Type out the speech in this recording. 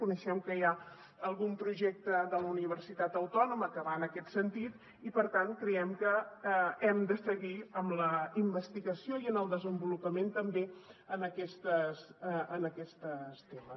coneixem que hi ha algun projecte de la universitat autònoma que va en aquest sentit i per tant creiem que hem de seguir amb la investigació i el desenvolupament també en aquests temes